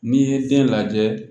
N'i ye den lajɛ